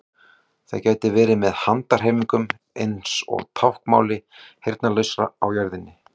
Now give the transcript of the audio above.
Það gæti verið með handahreyfingum eins og táknmáli heyrnarlausra á jörðinni.